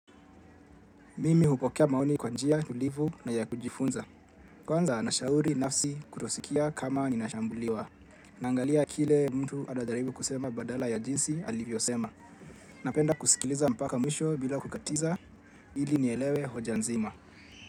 Mimi hupokea maoni kwa njia tulifu na ya kujifunza. Kwanza na shauri nafsi kutosikia kama ninashambuliwa. Nangalia kile mtu anajaribu kusema badala ya jinsi ali vyosema. Napenda kusikiliza mpaka mwisho bila kukatiza. Ili ni elewe hoja nzima.